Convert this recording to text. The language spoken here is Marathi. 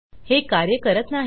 हे कार्य करत नाही